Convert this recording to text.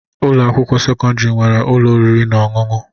Ụlọ akwụkwọ sekọndrị nwere ụlọ oriri na ọṅụṅụ